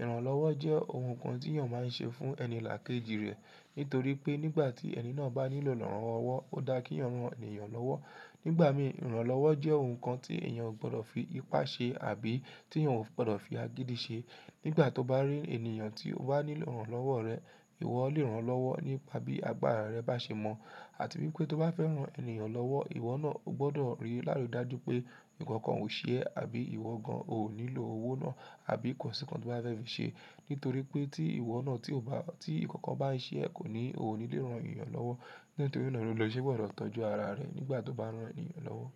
Ìrànlọ́wọ́ jẹ́ ohun kan tí èèyàn máa ń ṣe fún ẹni làkejì rẹ̀ nítorí pé nígbà tí ẹni náà bá nílò ìrànlọ́wọ́, ó dá kí wọn rán ènìyàn lọ́wọ́. Nígbà mí, ìrànlọ́wọ́ jẹ́ ohun kan tí èèyàn ò gbọdọ̀ fi ipá ṣe àbí tí wọ̀ń ò gbọdọ̀ fi agídí ṣe. Nígbà tó bá rí ènìyàn tí ó bá nílò ìrànlọ́wọ́ rẹ, ìwọ ó lè rán lọ́wọ́ nípa bí agbára rẹ bá ṣe mọ̀ àti wípé tó bá fẹ́ ran ènìyàn lọ́wọ́, ìwọ náà ó gbọdọ̀ rí lárudá ju pé ǹkan kan ò ṣe é àbí ìwọ gan-an ò nílò owó náà àbí kò sìkan tó bá fẹ́ fi ṣe. Nítorí pé tí ìwọ náà tí ó bá tí kankan bá ṣe é, ko ni, o ni le rán ènìyàn lọ́wọ́. Nítorí náà ni o ṣe gbọdọ̀ tọ́jú ara rẹ nígbà tó bá ran ènìyàn lọ́wọ́.